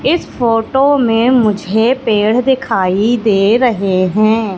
इस फोटो में मुझे पेड़ दिखाई दे रहे हैं।